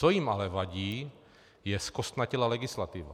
Co jim ale vadí, je zkostnatělá legislativa.